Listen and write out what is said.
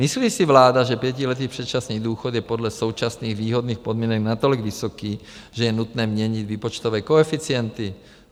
Myslí si vláda, že pětiletý předčasný důchod je podle současných výhodných podmínek natolik vysoký, že je nutné měnit výpočtové koeficienty?